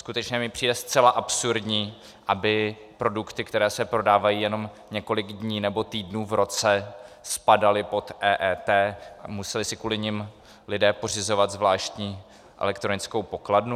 Skutečně mi přijde zcela absurdní, aby produkty, které se prodávají jenom několik dní nebo týdnů v roce, spadaly pod EET a museli si kvůli nim lidé pořizovat zvláštní elektronickou pokladnu.